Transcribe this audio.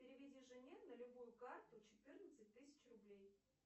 переведи жене на любую карту четырнадцать тысяч рублей